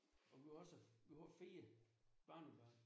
Vi har også vi har også fire barnebarn